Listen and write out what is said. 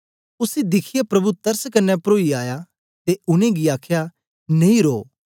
उसी दिखियै प्रभु तरस कन्ने परोइया आया ते उनेंगी आख्या नेई रोह